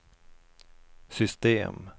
system